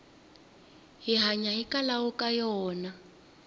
hi hanya hikwalaho ka yona